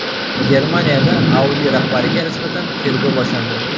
Germaniyada Audi rahbariga nisbatan tergov boshlandi.